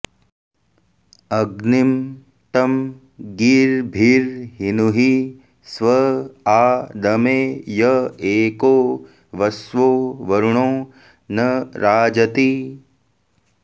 अग्निं तं गीर्भिर्हिनुहि स्व आ दमे य एको वस्वो वरुणो न राजति